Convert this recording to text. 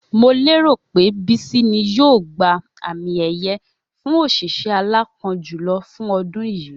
Mo lérò pé Bísí ni yóò gba àmì è̩ye̩ fún òs̩ìs̩é̩ aláápo̩n jùlo̩ fún o̩dún yìí